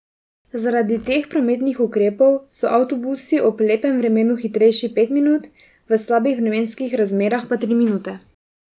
Zaradi teh prometnih ukrepov so avtobusi ob lepem vremenu hitrejši pet minut, v slabih vremenskih razmerah pa tri minute.